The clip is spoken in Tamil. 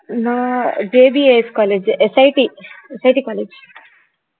நான் JBAScollegeSITSITcollege